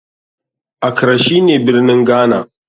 Accra shine birnin Ghana.